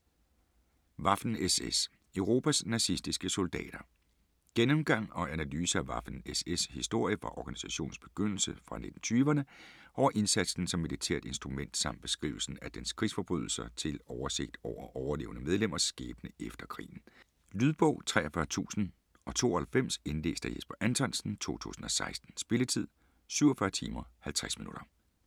Waffen-SS: Europas nazistiske soldater Gennemgang og analyse af Waffen-SS' historie fra organisationens begyndelse fra 1920'erne over indsatsen som militært instrument samt beskrivelse af dens krigsforbrydelser til oversigt over overlevende medlemmers skæbne efter krigen. Lydbog 43092 Indlæst af Jesper Anthonsen, 2016. Spilletid: 47 timer, 50 minutter.